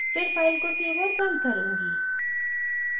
फिर फ़ाइल को सेव और बन्द करुँगी